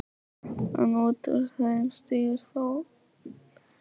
En út úr þeim stígur Þórarinn.